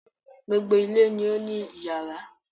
Gbogbo ilé ni ó ní iyàrá